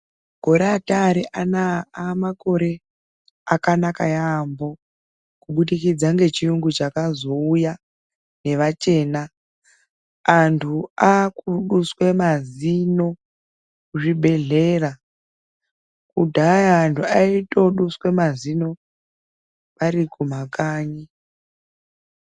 Makore ataari anaa amakore akanaka yaambo kubudikidza nechiyungu chakazouya nevachena. Antu aakuduswa mazino kuzvibhedhlera, kudhaya antu aitoduswa mazino vari kumakanyi.